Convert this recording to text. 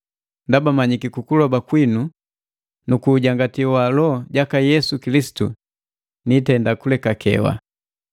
Ndaba manyiki kukuloba kwinu nukuujangati wa Loho jaka Yesu Kilisitu niitenda kulekakewa.